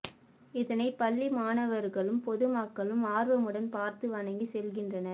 இதனை பள்ளி மாணவர்களும் பொது மக்களும் ஆர்வமுடன் பார்த்து வணங்கி செல்கின்றனர்